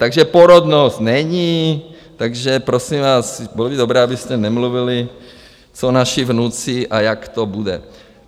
Takže porodnost není, takže prosím vás, bylo by dobré, abyste nemluvili, co naši vnuci a jak to bude.